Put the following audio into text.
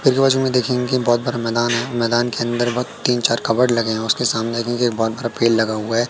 आजू-बाजू में देखेंगे कि बहोत बड़ा मैदान है मैदान के अन्दर वह तीन चार कबड लगे है उसके सामने ही ही बहोत बड़ा पेड़ लगा हुआ है।